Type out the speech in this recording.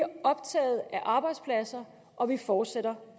optaget af arbejdspladserne og vi fortsætter